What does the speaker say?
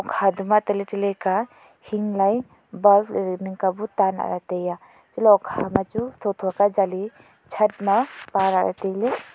tale tale ka hing lai tanla tai a bulb ale ning ka bu tanla taia achatla hukha ma chu tho tho kya jaji chat ma pala tailey.